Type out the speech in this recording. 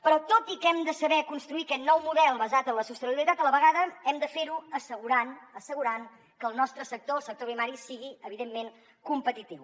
però tot i que hem de saber construir aquest nou model basat en la sostenibilitat a la vegada hem de fer ho assegurant assegurant que el nostre sector el sector primari sigui evidentment competitiu